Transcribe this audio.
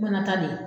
Mana ta de